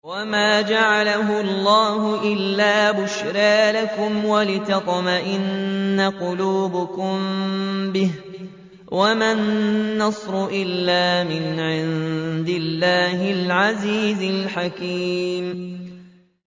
وَمَا جَعَلَهُ اللَّهُ إِلَّا بُشْرَىٰ لَكُمْ وَلِتَطْمَئِنَّ قُلُوبُكُم بِهِ ۗ وَمَا النَّصْرُ إِلَّا مِنْ عِندِ اللَّهِ الْعَزِيزِ الْحَكِيمِ